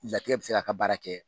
Latigɛ bi se k'a ka baara kɛ